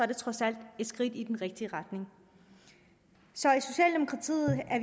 det trods alt et skridt i den rigtige retning så